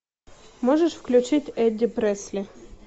можешь включить эдди пресли